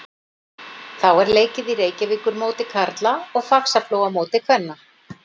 Þá er leikið í Reykjavíkurmóti karla og Faxaflóamóti kvenna.